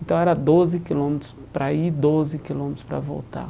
Então era doze quilômetros para ir e doze quilômetros para voltar.